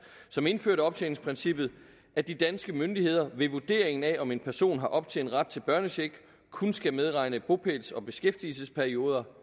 som indførte optjeningsprincippet at de danske myndigheder ved vurderingen af om en person har optjent ret til børnecheck kun skal medregne bopæls og beskæftigelsesperioder